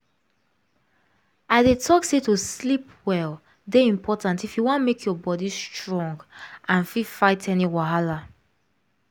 i dey talk say to sleep well dey important if you wan make your body strong and fit fight any wahala